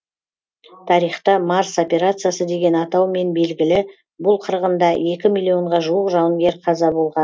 тарихта марс операциясы деген атаумен белгілі бұл қырғында екі миллионға жуық жауынгер қаза болған